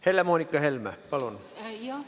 Helle-Moonika Helme, palun!